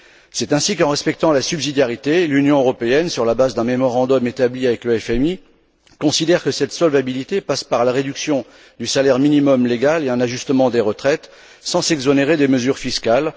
C'est ainsi qu'en respectant la subsidiarité, l'Union européenne, sur la base d'un mémorandum établi avec le FMI, considère que cette solvabilité passe par la réduction du salaire minimum légal et un ajustement des retraites sans s'exonérer des mesures fiscales.